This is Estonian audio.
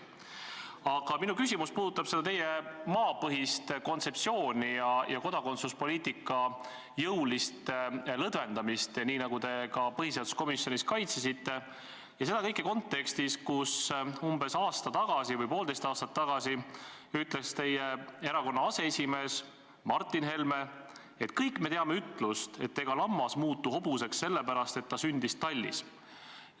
Aga minu küsimus puudutab teie maapõhist kontseptsiooni ja kodakondsuspoliitika jõulist lõdvendamist, nii nagu te ka põhiseaduskomisjonis kaitsesite, ja seda kõike kontekstis, kus umbes aasta tagasi või poolteist aastat tagasi ütles teie erakonna aseesimees Martin Helme: "Kõik me teame ütlust, et ega lammas muutu hobuseks selle pärast, et ta sündis tallis.